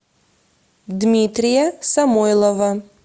дмитрия самойлова